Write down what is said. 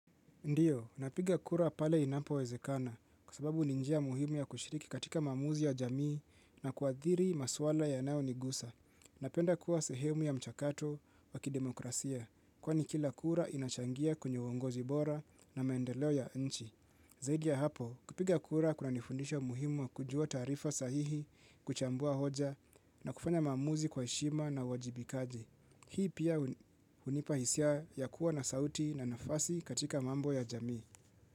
Ndiyo, napiga kura pale inapo wezekana kwa sababu ninjia muhimu ya kushiriki katika mamuzi ya jamii na kuadhiri maswala ya nao nigusa. Napenda kuwa sehemu ya mchakato wakidemokrasia kwani kila kura inachangia kwenye uongozi bora na maendeleo ya nchi. Zaidi ya hapo, kupiga kura kuna nifundisha muhimu ya kujua tarifa sahihi kuchambua hoja na kufanya mamuzi kwa heshima na wajibikaji. Hii pia unipahisia ya kuwa na sauti na nafasi katika mambo ya jamii.